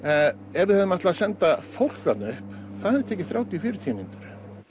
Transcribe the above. ef við ætluðum að senda fólk þarna upp það hefði tekið þrjátíu til fjörutíu mínútur